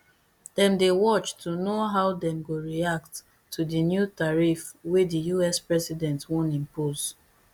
dem dey watch to know how dem go react to di new tariff wey di us president wan impose